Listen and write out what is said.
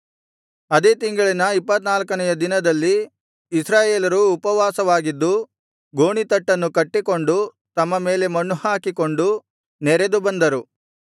ಅದೇ ತಿಂಗಳಿನ ಇಪ್ಪತ್ತನಾಲ್ಕನೆಯ ದಿನದಲ್ಲಿ ಇಸ್ರಾಯೇಲರು ಉಪವಾಸವಾಗಿದ್ದು ಗೋಣೀತಟ್ಟನ್ನು ಕಟ್ಟಿಕೊಂಡು ತಮ್ಮ ಮೇಲೆ ಮಣ್ಣುಹಾಕಿಕೊಂಡು ನೆರೆದು ಬಂದರು